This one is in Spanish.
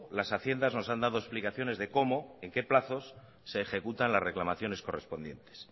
las haciendas nos han dado explicaciones de cómo en qué plazos se ejecutan las reclamaciones correspondientes